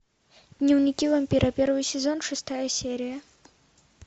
дневники вампира первый сезон шестая серия